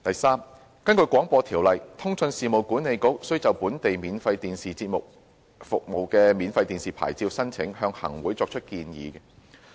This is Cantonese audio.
三根據《廣播條例》，通訊事務管理局須就本地免費電視節目服務牌照申請向行政長官會同行政會議作出建議。